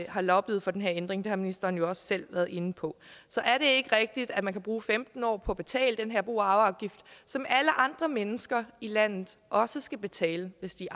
har lobbyet for den her ændring det har ministeren jo også selv været inde på så er det ikke rigtigt at man kan bruge femten år på at betale den her bo og arveafgift som alle andre mennesker i landet også skal betale hvis de